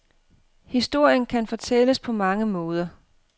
Historien kan fortælles på mange måder.